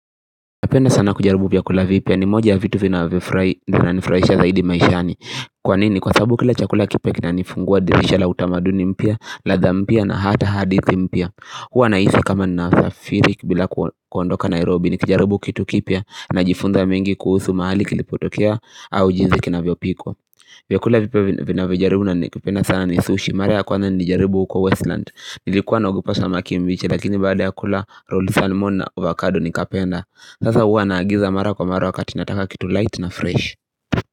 Napenda sana kujaribu vyakula vipya ni moja ya vitu vinanifurahisha zaidi maishani Kwa nini kwa sababu kila chakula kipya kinanifungua dirisha la utamaduni mpya, ladha mpia na hata hadithi mpya Huwa nahisi kama ninasafiri bila kuondoka Nairobi nikijaribu kitu kipya najifunza mengi kuhusu mahali kilipotokea au jinsi kinavyopikwa. Vyakula vipya vinavyojaribu na ni kupenda sana ni sushi, mara kwanza nilijaribu uko Westland.Nilikuwa naogopa samaki mbichi lakini baada ya kula roll salmon na avocado nikapenda Sasa uwa naagiza mara kwa mara wakati nataka kitu light na fresh.